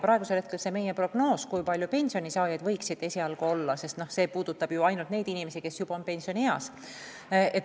See meie prognoos, kui palju selliseid pensionisaajaid võiks olla, puudutab esialgu ainult neid inimesi, kes juba on pensionieas.